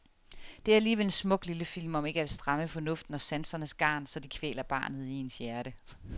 Det er alligevel en smuk lille film om ikke at stramme fornuften og sansernes garn, så de kvæler barnet i ens hjerte.